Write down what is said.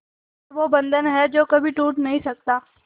ये वो बंधन है जो कभी टूट नही सकता